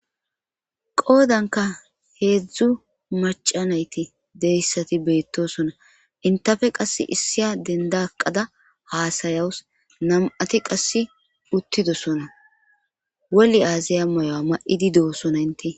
qoodanka heedzdzu macanayti deyssati beettosona intafe qass issiya dendaqada haasayawus nam7ati qasse uttidosona wolli aaziya moyo7a ma7idi doosona ynte